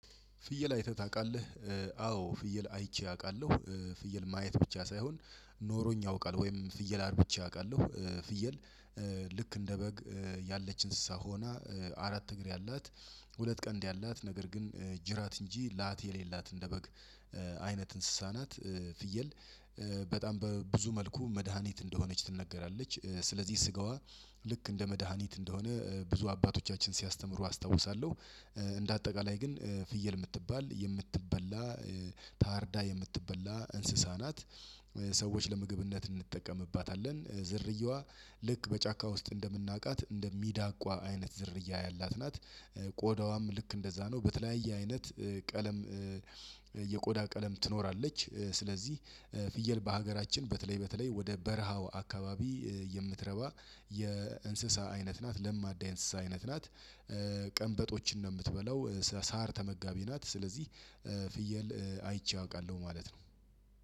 ፍየል አይተህ ታውቃለህ? አዎ ፍየል አይቼ አውቃለሁ። ፍየል ማየት ብቻ ሳይሆን ኖሮኝ ያውቃል ወይም ፍየል አርብቸ አውቃለሁ። ፍየል። ልክ እንደ በግ ያለች እንስሳ ሆና አራት እግር ያላት ሁለት ቀንድ ያላት ነገር ግን ጅራት እንጂ ላት የሌላት እንደበግ አይነት እንስሳናት። ፍየል በጣም በብዙ መልኩ መድሃኒት እንደሆነች ትነገራለች። ስለዚህ ስጋዋ ልክ እንደ መድሃኒት እንደሆነ ብዙ አባቶቻችን ሲያስተምሩ አስታውሳለሁ። እንደ አጠቃላይ ግን ፍየል የምትባል የምትበላ ታርዳ የምትበላ እንስሳ ናት። ሰዎች ለምግብነት እንጠቀምባታለን። ዝርየዋ ልክ በጫካ ውስጥ እንደምናውቃት እንደሚዳቋ አይነት ዝርያ ያላት ናት። ቆዳዋም ልክ እንደዛ ነው በተለያየ አይነት ቀለም የቆዳ ቀለም ትኖራለች። ስለዚህ ፍየል በሀገራችን በተለይ በተለይ ወደ በረሃው አካባቢ የምትረባ የእንስሳ አይነት ናት ለማዳ የእንስሳ አይነት ናት። ቀንበጦችን ነው የምትበላው ሳር ተመጋቢ ናት። ስለዚህ ፍየል አይቼ አውቃለሁ ማለት ነው።